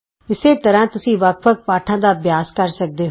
ਇਸੇ ਤਰ੍ਹਾਂ ਤੁਸੀਂ ਵੱਖ ਵੱਖ ਪਾਠਾਂ ਦਾ ਅਭਿਆਸ ਕਰ ਸਕਦੇ ਹੋ